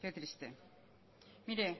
qué triste mire